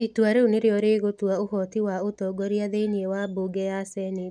Itua rĩu nĩrĩo rĩgũtua ũhoti wa ũtongoria thĩinĩ wa mbunge ya Senate.